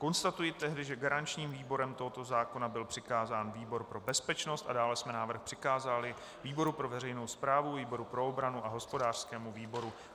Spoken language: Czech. Konstatuji tedy, že garančním výborem tohoto zákona byl přikázán výbor pro bezpečnost a dále jsme návrh přikázali výboru pro veřejnou správu, výboru pro obranu a hospodářskému výboru.